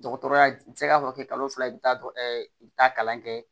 Dɔgɔtɔrɔya i bɛ se ka dɔ kɛ kalo fila ye i bɛ taa i bɛ taa kalan kɛ